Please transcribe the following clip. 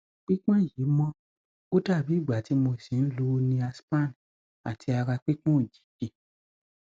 pípọn yìí mọ ó dàbí ìgbà tí mo ṣì ń lo niaspan àti ara pípọn òjijì